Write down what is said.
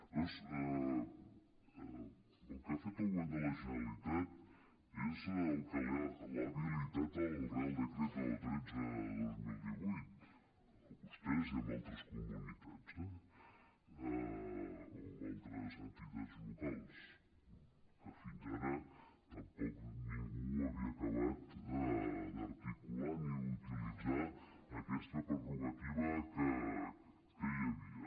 llavors el que ha fet el govern de la generalitat és per al que l’ha habilitat el real decreto tretze dos mil divuit a vostès i altres comunitats eh o altres entitats locals que fins ara tampoc ningú havia acabat d’articular ni utilitzar aquesta prerrogativa que hi havia